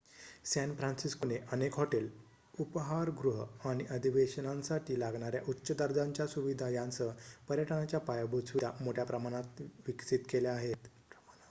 San फ्रान्सिस्कोने अनेक hotel उपहारगृह आणि अधिवेशनांसाठी लागणाऱ्या उच्च दर्जाच्या सुविधा यांसह पर्यटनाच्या पायाभूत सुविधा मोठ्या प्रमाणावर विकसित केल्या आहेत